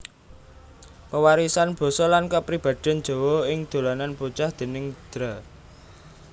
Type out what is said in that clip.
Pewarisan Basa lan Kapribaden Jawa ing Dolanan Bocah déning Dra